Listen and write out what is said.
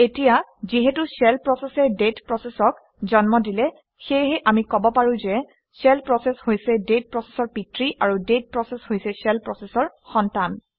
এতিয়া যিহেতু শ্বেল প্ৰচেচে ডেট প্ৰচেচক জন্ম দিলে সেয়েহে আমি কব পাৰোঁ যে শ্বেল প্ৰচেচ হৈছে ডেট প্ৰচেচৰ পিতৃ আৰু ডেট প্ৰচেচ হৈছে শ্বেল প্ৰচেচৰ সন্তান